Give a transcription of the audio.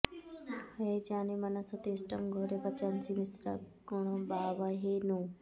ह॒ये जाये॒ मन॑सा॒ तिष्ठ॑ घोरे॒ वचां॑सि मि॒श्रा कृ॑णवावहै॒ नु